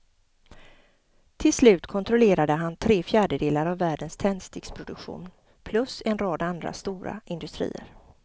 Till slut kontrollerade han tre fjärdedelar av världens tändsticksproduktion plus en rad andra stora industrier.